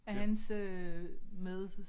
Af hans øh med